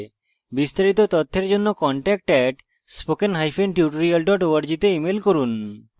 বিস্তারিত তথ্যের জন্য contact @spokentutorial org তে ইমেল করুন